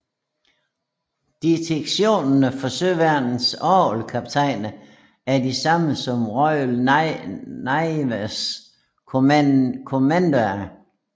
Distinktionerne for Søværnets orlogskaptajner er de samme som Royal Navys Commander